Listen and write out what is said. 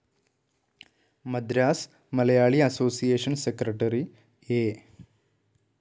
Madras Malayali association secretary A.